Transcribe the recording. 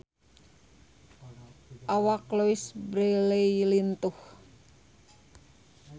Awak Louise Brealey lintuh